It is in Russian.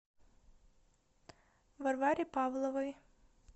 варваре павловой